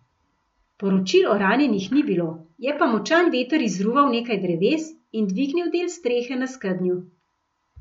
Poročil o ranjenih ni bilo, je pa močan veter izruval nekaj dreves in dvignil del strehe na skednju.